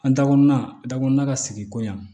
An dakɔrɔnna da kɔnɔna ka sigi koɲa